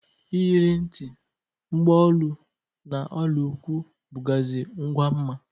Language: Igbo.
Iyeri nti, mgba olu na ọla ụkwụ bụgazi ngwa mma.